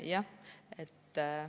Jah.